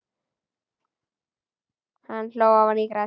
Hann hló ofan í grasið.